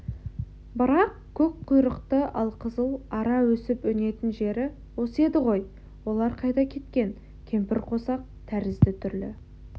бірақ көк құйрықты алқызыл ара өсіп-өнетін жері осы еді ғой олар қайда кеткен кемпірқосақ тәрізді түрлі